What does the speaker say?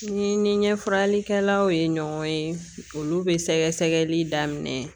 Ni n ɲɛ faralikɛlaw ye ɲɔgɔn ye olu bɛ sɛgɛsɛgɛli daminɛ